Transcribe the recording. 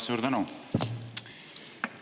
Suur tänu!